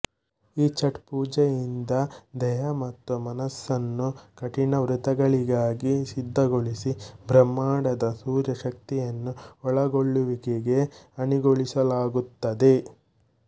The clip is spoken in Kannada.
ಈ ಛಠ್ ಪೂಜೆಯಿಂದ ದೇಹ ಮತ್ತು ಮನಸ್ಸನ್ನು ಕಠಿಣ ವೃತಗಳಿಗಾಗಿ ಸಿದ್ದಗೊಳಿಸಿ ಬ್ರಹ್ಮಾಂಡದ ಸೂರ್ಯ ಶಕ್ತಿಯನ್ನು ಒಳಗೊಳ್ಳುವಿಕೆಗೆ ಅಣಿಗೊಳಿಸಲಾಗುತ್ತದೆ